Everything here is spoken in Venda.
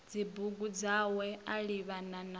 dzibugu dzawe a livhana na